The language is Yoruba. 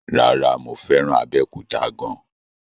No, mo fẹ́ràn Abẹ́òkúta gan an.